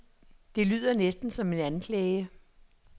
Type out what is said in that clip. Det lyder næsten som en anklage.